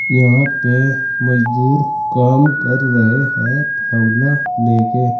यहां पे मजदूर काम कर रहे हैं फावड़ा लेके।